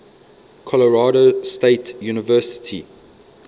colorado state university